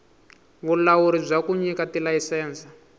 vulawuri bya ku nyika tilayisense